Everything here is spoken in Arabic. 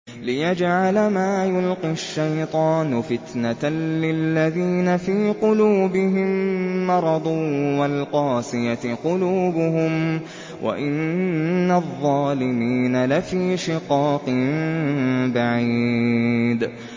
لِّيَجْعَلَ مَا يُلْقِي الشَّيْطَانُ فِتْنَةً لِّلَّذِينَ فِي قُلُوبِهِم مَّرَضٌ وَالْقَاسِيَةِ قُلُوبُهُمْ ۗ وَإِنَّ الظَّالِمِينَ لَفِي شِقَاقٍ بَعِيدٍ